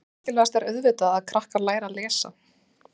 En mikilvægast er auðvitað að krakkar læri að lesa?